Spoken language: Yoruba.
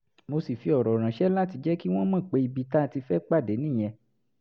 mo sì fi ọ̀rọ̀ ránṣẹ́ láti jẹ́ kí wọ́n mọ̀ pé ibi tá a ti fẹ́ pàdé nìyẹn